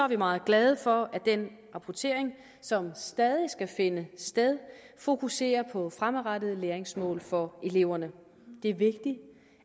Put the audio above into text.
vi meget glade for at den rapportering som stadig skal finde sted fokuserer på fremadrettede læringsmål for eleverne det er vigtigt